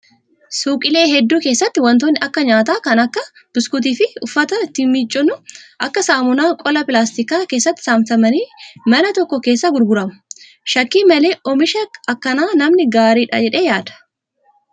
Suuqiilee hedduu keessatti wantootni akka nyaataa kan akka buskuutii fi uffata ittiin miiccannu akka saamunaa qola pilaastikaa keessatti saamsamanii mana tokko keessaa gurguramu. Shakkii malee oomisha akkanaa namni gaariidha jedhee yaada.